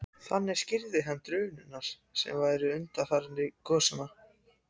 Þannig skýrði hann drunurnar sem væru undanfari gosanna.